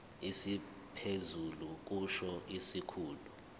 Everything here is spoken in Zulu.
esiphezulu kusho isikhulu